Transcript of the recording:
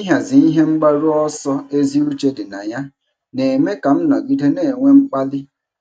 Ịhazi ihe mgbaru ọsọ ezi uche dị na ya na-eme ka m nọgide na-enwe mkpali